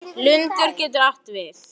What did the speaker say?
Lundur getur átt við